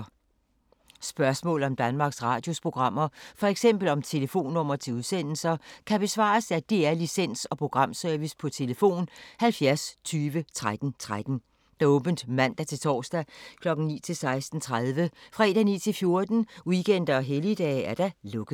Spørgsmål om Danmarks Radios programmer, f.eks. om telefonnumre til udsendelser, kan besvares af DR Licens- og Programservice: tlf. 70 20 13 13, åbent mandag-torsdag 9.00-16.30, fredag 9.00-14.00, weekender og helligdage: lukket.